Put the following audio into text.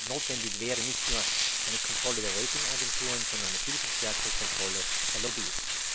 Notwendig wäre nicht nur eine Kontrolle der Ratingagenturen, sondern eine viel stärkere Kontrolle der Lobbyisten.